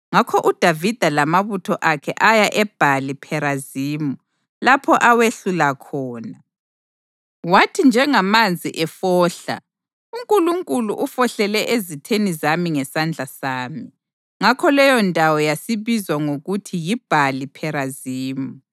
Ngakho uDavida lamabutho akhe aya eBhali Pherazimi lapho awehlula khona. Wathi: “Njengamanzi efohla, uNkulunkulu ufohlele ezitheni zami ngesandla sami.” Ngakho leyondawo yasibizwa ngokuthi yiBhali Pherazimi.